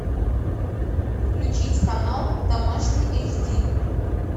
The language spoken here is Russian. включить канал домашний эйч ди